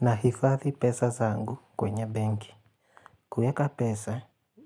Nahifadhi pesa zangu kwenye benki. Kueka pesa